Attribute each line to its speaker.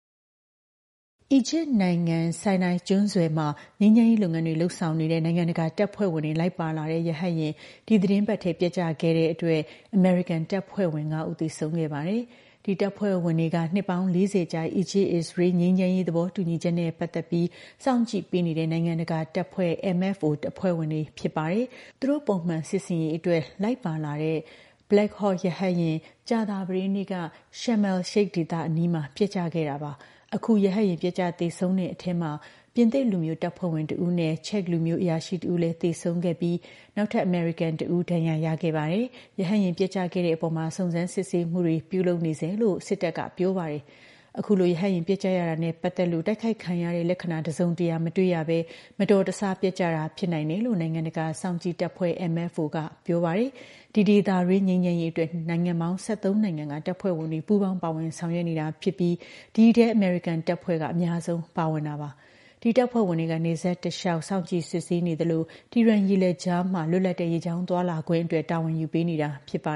Speaker 1: အီဂျစ်နိုင်ငံ Sinai ကျွန်းဆွယ်မှာ ငြိမ်းချမ်းရေးလုပ်ငန်းတွေ လုပ်ဆောင်နေတဲ့ နိုင်ငံတကာတပ်ဖွဲ့ဝင်တွေ လိုက်ပါလာတဲ့ ရဟတ်ယာဉ် ဒီသီတင်းပတ်ထဲ ပျက်ကျခဲ့တဲ့အထဲ အမေရိကန်တပ်ဖွဲ့ဝင် ၅ ဦး သေဆုံးခဲ့ပါတယ်။ ဒီတပ်ဖွဲ့ဝင်တွေက နှစ်ပေါင်း ၄၀ ကြာ အီဂျစ်-အစ္စရေး ငြိမ်းချမ်းရေး သဘောတူညီချက်နဲ့ ပတ်သက်ပြီး စောင့်ကြည့်ပေးနေတဲ့ နိုင်ငံတကာတပ်ဖွဲ့ MFO အဖွဲ့ဝင်တွေ ဖြစ်ပါတယ်။ သူတို့ ပုံမှန်စစ်ဆင်ရေးအတွက် လိုက်ပါလာတဲ့ Black Hawk ရဟတ်ယာဉ် ကြာသပတေးနေ့က Sharm el-Sheikh ဒေသအနီးမှာ ပျက်ကျခဲ့တာပါ။ Sharm el-Sheikh ဒေသက ပင်လယ်နီထဲက လူသိများတဲ့ အပန်းဖြေစခန်းတခုလည်း ဖြစ်ပါတယ်။ အခု ရဟတ်ယာဉ်ပျက်ကျ သေဆုံးခဲ့တဲ့အထဲမှာ ပြင်သစ်လူမျိုးတပ်ဖွဲ့ဝင် တဦးနဲ့ ချက်လူမျိုး အရာရှိတဦးလည်း သေဆုံးခဲ့ပြီး နောက်ထပ် အမေရိကန်တဦး ဒဏ်ရာရခဲ့ပါတယ်။ ရဟတ်ယာဉ် ပျက်ကျခဲ့ရတဲ့အပေါ်မှာ စုံစမ်းစစ်ဆေးမှုတွေ လုပ်နေဆဲပဲလို့ စစ်တပ်ကပြောပါတယ်။ အခုလို ရဟတ်ယာဉ် ပျက်ကျရတာနဲ့ ပတ်သက်လို့ တိုက်ခိုက်ခံရတဲ့ လက္ခဏာ တစုံတရာ မတွေ့ရဘဲ မတော်တဆပျက်ကျတာ ဖြစ်နိုင်တယ်လို့ နိုင်ငံတကာ စောင့်ကြည့်တပ်ဖွဲ့ MFO က ပြောပါတယ်။ ဒီ ဒေသတွင်း ငြိမ်းချမ်းရေးအတွက် နိုင်ငံပေါင်း ၁၃ နိုင်ငံက တပ်ဖွဲ့ဝင်တွေ ပူးပေါင်းပါဝင် ဆောင်ရွက်နေတာဖြစ်ပြီး ဒီအထဲ အမေရိကန်တပ်ဖွဲ့ဝင် အများဆုံး ပါဝင်တာပါ။ ဒီတပ်ဖွဲ့ဝင်တွေက နယ်စပ်တလျှောက် စောင့်ကြည့်စစ်ဆေးနေသလို Tiran ရေလက်ကြားမှာ လွတ်လပ်တဲ့ ရေကြောင်းသွားလာခွင့်အတွက် တာဝန်ယူပေးနေတာ ဖြစ်ပါ